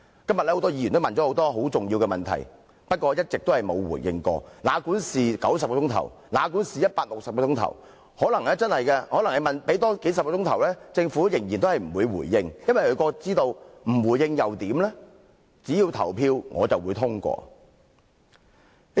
今天，很多議員提出了很多重要的問題，但政府一直沒有回應，哪管我們辯論多數十小時至90小時甚或160小時，政府可能仍然不會回應，因為它知道即使不作回應，只要《條例草案》付諸表決，便會通過。